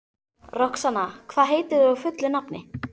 Roxanna, hvað heitir þú fullu nafni?